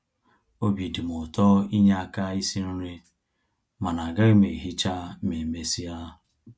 Obi dịm ụtọ inye aka isi nri, mana agaghị m ehicha ma e mesịa